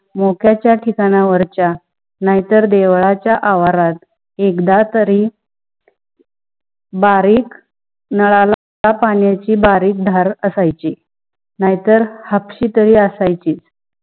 मोक्‍या च्‍या ठिकाना वरच्‍या नाही तर देवळाच्या च्या आवारात एकादा तारी बारीक नळाला बारीक धार आश्‍यची, नाही तर हापसिला ही आश्‍यची.